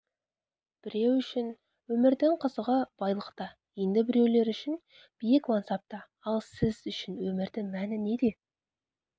біреу үшін өмірдің қызығы байлықта енді біреулер үшін биік мансапта ал сіз үшін өмірдің мәні неде